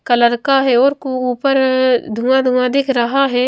Colour का है और कू ऊपर धुंआ धुंआ दिख रहा है।